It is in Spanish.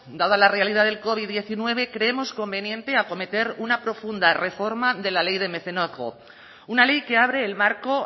dada la realidad del covid diecinueve creemos conveniente acometer una profunda reforma de la ley de mecenazgo una ley que abre el marco